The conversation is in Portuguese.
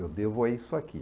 Eu devo a isso aqui.